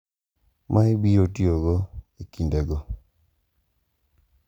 Ma ibiro tiyogo e kindego.